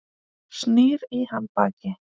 Snýr í hann baki.